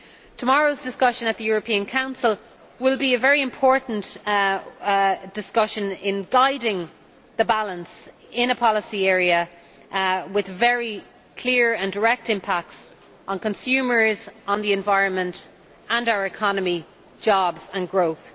Tomorrow's discussion at the European Council will be a very important one in guiding the balance in a policy area with very clear and direct impacts on consumers, the environment and our economy, as well as jobs and growth.